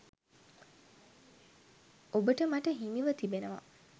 ඔබට මට හිමිව තිබෙනවා.